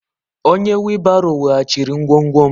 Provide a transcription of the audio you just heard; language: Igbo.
Onye wheelbarrow weghachiri ngwongwo m.